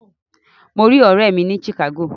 Mo rí ọ̀rẹ́ mi ní Chicago.